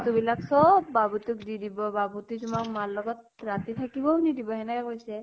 বিলাক চব বাবু ক দি দিব । বাবু তোৱে তোমাক মাৰ লগত ৰাতি থাকিবও নিদিব, এনেকে কৈছে ।